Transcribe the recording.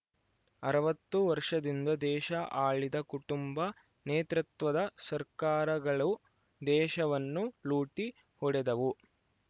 ಅರವತ್ತು ವರ್ಷದಿಂದ ದೇಶ ಆಳಿದ ಕುಟುಂಬ ನೇತೃತ್ವದ ಸರ್ಕಾರಗಳು ದೇಶವನ್ನು ಲೂಟಿ ಹೊಡೆದವು